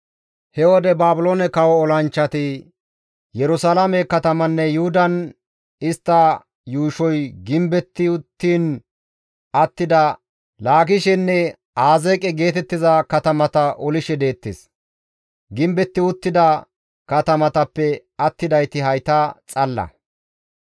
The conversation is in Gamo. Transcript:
He wode Baabiloone kawo olanchchati Yerusalaame katamanne Yuhudan istta yuushoy gimbetti uttiin attida Laakishenne Azeeqe geetettiza katamata olishe deettes. Gimbetti uttida katamatappe attidayti hayta xalla.